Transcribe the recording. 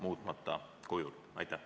Aitäh!